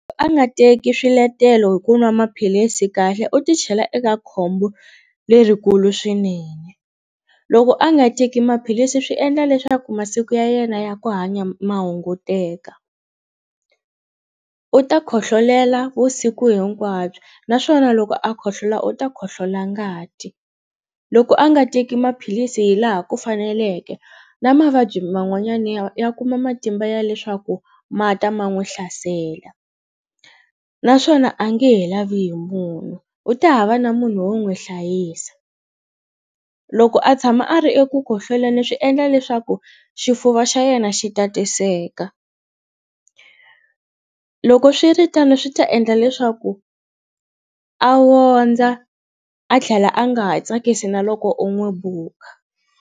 A nga teki swiletelo hi ku nwa maphilisi kahle u ti chela eka khombo lerikulu swinene loko a nga teki maphilisi swi endla leswaku masiku ya yena ya ku hanya ma hunguteka u ta khohlolela vusiku hinkwabyo naswona loko a khohlola u ta khohlola ngati loko a nga teki maphilisi hi laha ku faneleke na mavabyi man'wanyana ya ya kuma matimba ya leswaku ma ta ma n'wu hlasela naswona a nge he lavi hi munhu u ta hava na munhu wo n'wi hlayisa loko a tshama a ri eku khohloleni swi endla leswaku xifuva xa yena xi tatiseka loko swiritano swi ta endla leswaku a wondza a tlhela a nga ha tsakisi na loko u n'wi buka.